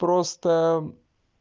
просто